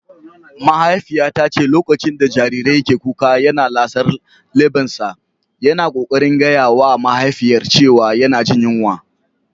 Mahaifiyata ta ce lokacin da jariri ke kuka yana lasar lebbansa, yana kokarin gaya wa mahaifiyar cewa yana jin yunwa.